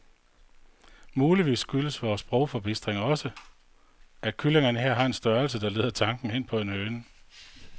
Muligvis skyldes vor sprogforbistring også, at kyllingerne her har en størrelse, der leder tanken hen på en høne.